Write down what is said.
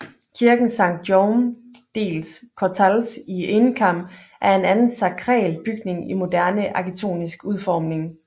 Kirken Sant Jaume dels Cortals i Encamp er en anden sakral bygning i moderne arkitektonisk udformning